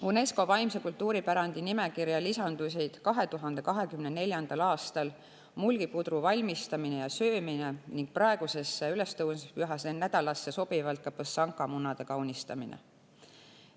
UNESCO vaimse kultuuripärandi nimekirja lisandusid 2024. aastal mulgi pudru valmistamine ja söömine ning praegusesse ülestõusmispüha nädalasse sobivalt põssanka lihavõttemunade kaunistamine.